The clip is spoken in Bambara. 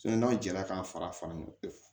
n'aw jara k'a fara ɲɔgɔn kan